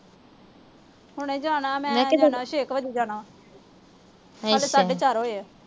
ਹੁਣੇ ਜਾਣਾ ਛੇ ਕ ਵਜੇ ਜਾਣਾ। ਹਾਲੇ ਸਾਢੇ ਚਾਰ ਹੋਏ ਆ।